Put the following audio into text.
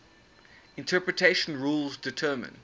interpretation rules determine